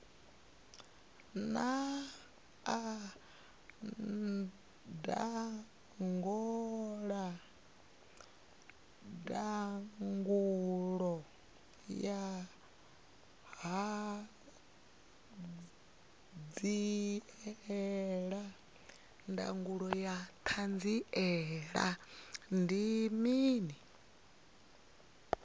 naa ndangulo ya hanziela ndi mini